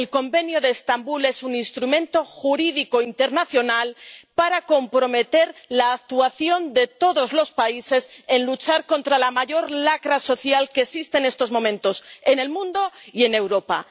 El Convenio de Estambul es un instrumento jurídico internacional para comprometer la actuación de todos los países en luchar contra la mayor lacra social que existe en estos momentos, en el mundo y en Europa.